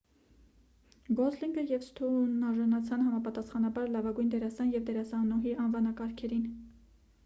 գոսլինգը և սթոունն արժանացան համապաստախանաբար լավագույն դերասան և դերասանուհի անվանկարգերին